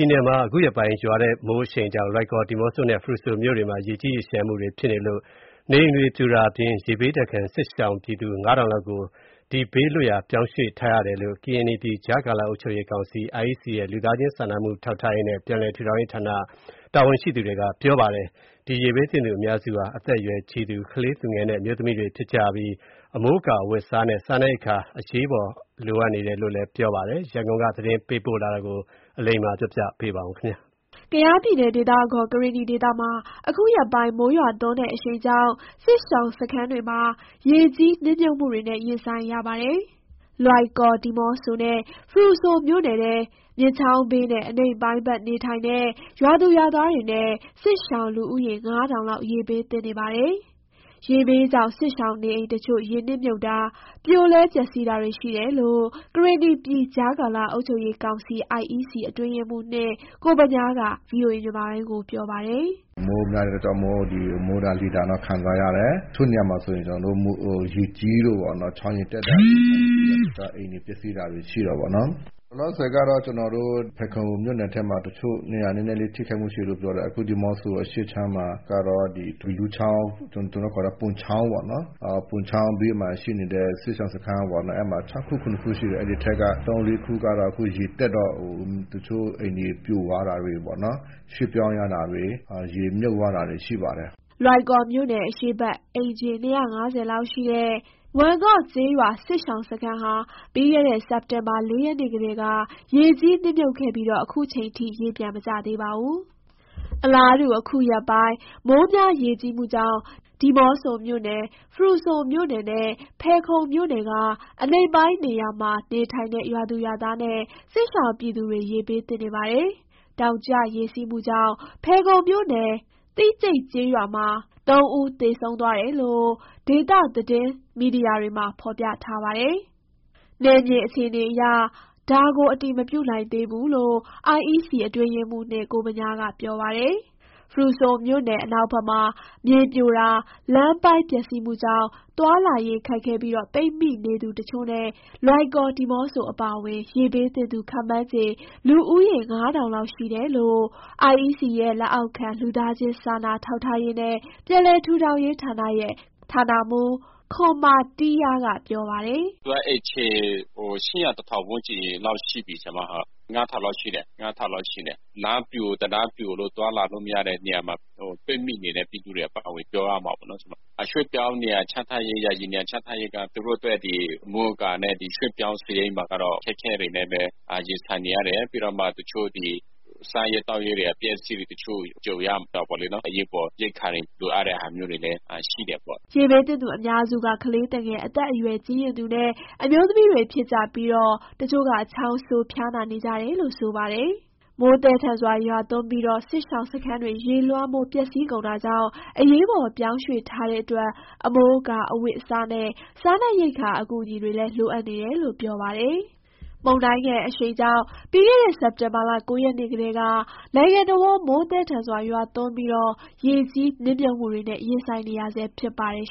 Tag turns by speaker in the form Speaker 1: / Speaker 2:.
Speaker 1: ည်နယ်မှာ အခုရက်ပိုင်း မိုးရွာသွန်းတဲ့ အရှိန်ကြောင့် လွိုင်ကော်၊ ဒီးမော့ဆိုနဲ့ ဖရူဆိုမြို့နယ်တွေမှာ ရေကြီးရေလျှံမှုတွေ ဖြစ်နေတာကြောင့် နေအိမ်တွေ ပြိုကျ ပျက်ဆီးတာအပြင် ရေဘေးဒဏ်ခံနေရတဲ့ စစ်ရှောင်ပြည်သူ ၅,၀၀၀ လောက်ကို ရေဘေးလွတ်ရာ ပြောင်းရွှေ့ထားရတယ်လို့ ကရင်နီပြည် ကြားကာလအုပ်ရေးကောင်စီ - IEC လက်အောက်ခံ လက်အောက်ခံ လူသားချင်းစာနာထောက်ထားရေးနဲ့ ပြန်လည်ထူထောင်ရေးဌာနရဲ့ ဌာန တာဝန်ရှိသူတွေက ပြောပါတယ်။ ရေဘေးသင့်သူ အများစုဟာ အသက်အရွယ်ကြီးရင့်သူ၊ ကလေးသူငယ်နဲ့ အမျိုးသမီးတွေဖြစ်ကြပြီး အမိုးအကာ၊ အဝတ်အစားနဲ့ စားနပ်ရိက္ခာ အကူအညီ အရေးပေါ် လိုအပ်နေတယ်လို့ ဆိုပါတယ်။ ဒီအကြောင်း ရန်ကုန်က သတင်းပေးပို့တာကို ပြောပြပါမယ်။
Speaker 2: ကယားပြည်နယ်၊ ဒေသအခေါ် ကရင်နီဒေသမှာ ခုရက်ပိုင်း မိုးရွာသွန်းတဲ့ အရှိန်ကြောင့် စစ်ရှောင်စခန်းတွေမှာ ရေကြီးနစ်မြှုပ်မှုတွေနဲ့ ရင်ဆိုင်ရပါတယ်။ လွိုင်ကော်၊ ဒီးမော့ဆိုနဲ့ ဖရူဆိုမြို့နယ်ထဲ မြစ်ချောင်းဘေးနဲ့ အနိမ့်ပိုင်းဘက် နေထိုင်တဲ့ ရွာသူရွာသားတွေနဲ့ စစ်ရှောင် လူဦးရေ ၅,၀၀၀ လောက် ရေဘေးသင့်နေပါတယ်။ ရေဘေးကြောင့် စစ်ရှောင် နေအိမ်တချို့ ရေနစ်မြှုပ်တာ၊ ပြိုလဲပျက်စီးတာတွေ ရှိတယ်လို့ ကရင်နီပြည် ကြားကာလ အုပ်ချုပ်ရေးကောင်စီ (IEC) အတွင်းရေးမှူး (၂) ကိုဗညားက ပြောပါတယ်။
Speaker 3: “မိုးများတဲ့ အတွက်ကြောင့်မို့ ဒီ မိုးဒဏ် လေဒဏ်တော့ ခံစားရတယ်။ တချို့နေရာမှာ ကျနော်တို့ ရေကြီးလို့ပေါ့နော်။ ချောင်းရေတက်လို့ အိမ်တွေ ပျက်စီးတာတွေရှိတာပေါ့နော်။ လောလောဆယ်ကတော့ ကျနော်တို့ ဖယ်ခုံမြို့နယ်ထဲမှာ တချို့နေရာ နည်းနည်းလေထိခိုက်မှုရှိတယ် ပြောတယ်။ အခုဒီးမော့ဆို အရှေ့ခြမ်းမှာကတော့ ဒီဘီးလူချာင်း ကျနော်တို့ခေါ်တာ ဗွန်ချောင်းပေါ့နော်၊ ဗွန်ချောင်းဘေးမှာ ရှိနေတဲ့ စစ်ရှောင်စခန်းပေါ့နော်၊ အဲ့မှာ (စခန်း) ၆ခု ၇ခု ရှိတယ်၊ အဲ့ဒီထဲက(စခန်း) ၃၊ ၄ခုကတော့ အခုရေတက်တော့ တချို့အိမ်တွေ ပြိုသွားတာတွေပေါ့ ရွှေ့ပြောင်းရတာတွေ ရေမြှုပ်သွားတာတွေ ရှိပါတယ်
Speaker 2: ။” လွိုင်ကော်မြို့နယ် အရှေ့ဘက် အိမ်ခြေ ၂၅၀ လောက်ရှိတဲ့ ဝမ်ငေါ့ကျေးရွာ စခန်းရှောင်စခန်းဟာ ပြီးခဲ့တဲ့ စက်တင်ဘာ ၄ ရက်နေ့ကတည်းက ရေကြီးနစ်မြှုပ်ခဲ့ပြီး ခုထိချိန်ထိ ရေပြန်မကျသေးပါဘူး။ အလားတူ ခုရက်ပိုင်း မိုးများရေကြီးမှုကြောင့် ဒီးမော့ဆိုမြို့နယ်၊ ဖရူဆိုမြို့နယ်နဲ့ ဖယ်ခုံမြို့နယ်က အနိမ့်ပိုင်းနေရာမှာ နေထိုင်တဲ့ ရွာသူရွာသားနဲ့ စစ်ရှောင်ပြည်သူတွေ ရေဘေးသင့်နေပါတယ်။ တောင်ကျရေစီးမှုကြောင့် ဖယ်ခုံမြို့နယ် သိကျိတ်ကျေးရွာမှာ ၃ ဦးသေဆုံးသွားတယ်လို့ ဒေသသတွင်း တင်းမီဒီယာက ဖော်ပြထားပါတယ်၊ နယ်မြေအခြေအနေအရ ဒါကို အတည်မပြုနိုင်သေးဘူးလို့ IEC အတွင်းရေးမှူး (၂) ကိုဗညားက ပြောပါတယ်။ ဖရူဆိုမြို့နယ်အနောက်ဘက်မှာ မြေပြိုတာ လမ်းပိုင်းပျက်စီးမှုကြောင့် သွားလာရေးခက်ခဲပြီး ပိတ်မိနေသူတချို့နဲ့ လွိုင်ကော်၊ ဒီးမော့ဆို အပါအဝင် ရေဘေးသင့်သူ ခန့်မှန်းခြေ လူဦးရေ ၅,၀၀၀ လောက်ရှိတယ်လို့ IEC ရဲ့ လက်အောက်ခံ လူသားချင်းစာနာထောက်ထားရေးနဲ့ ပြန်လည်ထူထောင်ရေးဌာနရဲ့ ဌာနမှူး ခွံမာတီးယာ က ပြောပါတယ်
Speaker 4: ။ “ အိမ်ခြေ ၈၀၀၊ ၁,၀၀၀ ဝန်ကျင်းလောက် ရှိပြီ။ လူ ၅,၀၀၀ လောက်ရှိတယ်။ လမ်းပြို တံတားပြိုလို့ သွားလာလို့မရတဲ့ နေရာမှာ ပိတ်မိနေတဲ့ ပြည်သူတွေအပါအဝင် ပြောရမှာပေါ့နော်။ ရွှေ့ပြောင်းနေရာချထားရေး ယာယီနေရာချထားရေးက သူတို့အတွက် အမိုးအကာနဲ့ ရွှေ့ပြောင်း စားရိတ်မှာကတော့ ခက်ခဲတွေနဲ့ပဲ ရင်ဆိုင်နေရတယ်။ ပြီးတော့မှ တချို့ ဒီ စားရေး သောက်ရေးတွေ၊ အပျက်အစီးတွေ၊ တချို့ ကြုံရတာပေါ့လေနော်။ အရေးပေါ် ရိက္ခာတွေ လိုအပ်တဲ့ဟာမျိုးတွေလည်း ရှိတယ်ပေါ့။
Speaker 2: ” ရေဘေးသင့်သူ အများစုက ကလေးသူငယ်၊ အသက်အရွယ်ကြီးရင့်သူနဲ့ အမျိုးသမီးတွေ ဖြစ်ကြပြီး တချို့က ချောင်းဆိုး ၊ ဖျားနာ နေကြတယ်လို့ ဆိုပါတယ်။ မိုးသည်းထန်စွာ ရွာသွန်းပြီး စစ်ရှောင်စခန်းတွေ ရေလွှမ်းမိုး ပျက်စီးကုန်တာကြောင့် အရေးပေါ်ပြောင်းရွှေ့ထားတဲ့အတွက် အမိုးအကာ၊ အဝတ်အစားနဲ့ စားနပ်ရိက္ခာ အကူအညီ လိုအပ်နေတာလို့ ဆိုပါတယ်။ မုန်တိုင်းအရှိန်ကြောင့် ပြီးခဲ့တဲ့ စက်တင်ဘာလ ၉ ရက်နေ့ကတည်းက နိုင်ငံတဝန်း မိုးသည်းထန်စွာ ရွာသွန်းပြီး ရေကြီးနစ်မြှုပ်မှုတွေနဲ့ ရင်ဆိုင်နေရဆဲ ဖြစ်ပါတယ်